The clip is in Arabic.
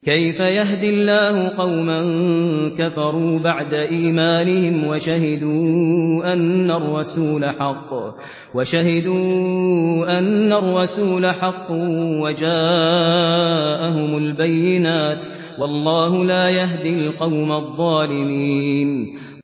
كَيْفَ يَهْدِي اللَّهُ قَوْمًا كَفَرُوا بَعْدَ إِيمَانِهِمْ وَشَهِدُوا أَنَّ الرَّسُولَ حَقٌّ وَجَاءَهُمُ الْبَيِّنَاتُ ۚ وَاللَّهُ لَا يَهْدِي الْقَوْمَ الظَّالِمِينَ